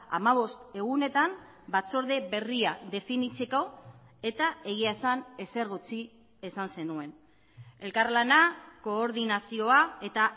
hamabost egunetan batzorde berria definitzeko eta egia esan ezer gutxi esan zenuen elkarlana koordinazioa eta